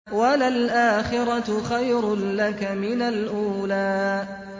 وَلَلْآخِرَةُ خَيْرٌ لَّكَ مِنَ الْأُولَىٰ